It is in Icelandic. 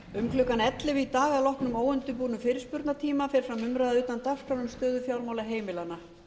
um klukkan ellefu í dag að loknum óundirbúnum fyrirspurnatíma fer fram umræða utan dagskrár um stöðu fjármála heimilanna